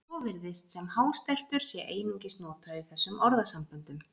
Svo virðist sem hástertur sé einungis notað í þessum orðasamböndum.